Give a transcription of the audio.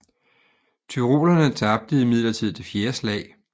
Tyrolerne tabte imidlertid det fjerde slag